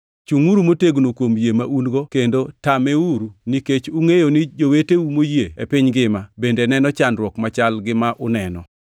Chungʼuru motegno kuom yie ma un-go kendo tameuru, nikech ungʼeyo ni joweteu moyie e piny ngima bende neno chandruok machal gi ma uneno.